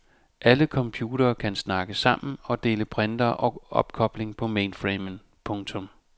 Alle computerne kan snakke sammen og dele printere og opkobling på mainframen. punktum